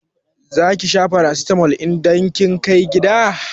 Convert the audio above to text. Zaki sha farasitamol idan kin kai gida?